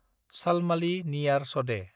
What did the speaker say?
शालमालि नियार सदे